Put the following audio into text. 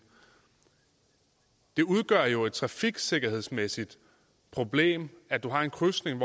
det udgør jo et trafiksikkerhedsmæssigt problem at du har en krydsning